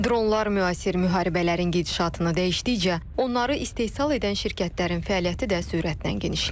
Dronlar müasir müharibələrin gedişatını dəyişdikcə, onları istehsal edən şirkətlərin fəaliyyəti də sürətlə genişlənir.